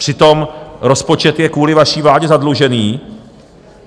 Přitom rozpočet je kvůli vaší vládě zadlužený.